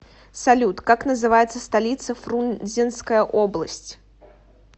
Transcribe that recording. салют как называется столица фрунзенская область